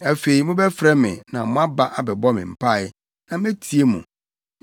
Afei mobɛfrɛ me na moaba abɛbɔ me mpae, na metie mo.